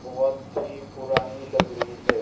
बहोत ही पुरानी लग रही है।